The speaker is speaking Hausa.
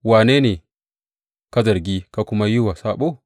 Wane ne ka zargi ka kuma yi wa saɓo?